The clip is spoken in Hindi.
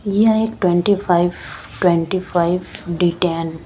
ये एक twenty five twenty five detain --